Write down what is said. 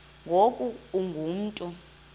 ngoku ungu mntu